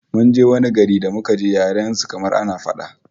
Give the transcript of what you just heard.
Mun je wani gari da muka ji yaren su kamar ana fada!